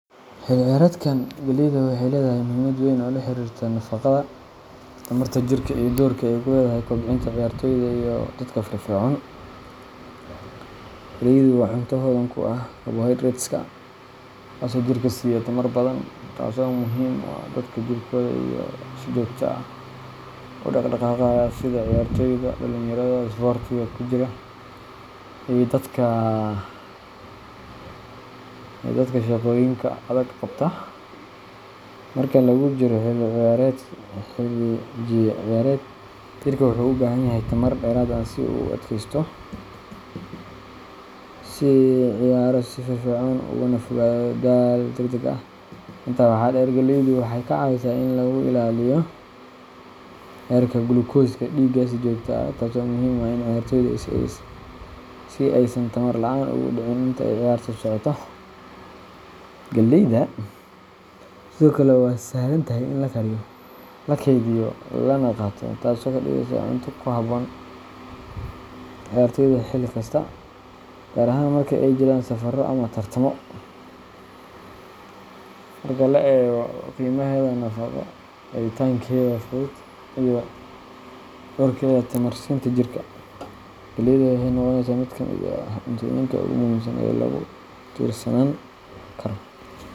Xilligan ciyaareed, galleyda waxay leedahay muhiimad weyn oo la xiriirta nafaqada, tamarta jirka, iyo doorka ay ku leedahay kobcinta ciyaartooyda iyo dadka firfircoon. Galleydu waa cunto hodan ku ah carbohydrates-ka, kuwaasoo jirka siiya tamar badan, taasoo muhiim u ah dadka jidhkooda si joogto ah u dhaqdhaqaaqaya sida ciyaartooyda, dhalinyarada isboortiga ku jira, iyo dadka shaqooyinka adag qabta. Marka lagu jiro xilli ciyaareed, jirka wuxuu u baahan yahay tamar dheeraad ah si uu u adkeysto, u ciyaaro si firfircoon, ugana fogaado daal degdeg ah. Intaa waxaa dheer, galleydu waxay ka caawisaa in lagu ilaaliyo heerka gulukooska dhiigga si joogto ah, taasoo muhiim u ah ciyaartooyda si aysan tamar la’aan ugu dhicin intii ay ciyaarta socoto. Galleyda sidoo kale waa sahlan tahay in la kariyo, la kaydiyo, lana qaato, taasoo ka dhigaysa cunto ku habboon ciyaartooyda xilli kasta, gaar ahaan marka ay jiraan safarro ama tartamo. Marka la eego qiimaheeda nafaqo, helitaankeeda fudud, iyo doorkeeda tamar siinta jirka, galleyda waxay noqonaysaa mid ka mid ah cuntooyinka ugu muhiimsan ee lagu tiirsanaan karo.